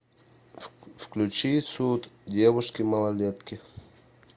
включи суд девушки малолетки